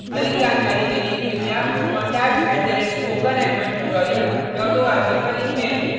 अधिक जानकारी के लिए contact @ spoken hyphen tutorial dot org पर लिखें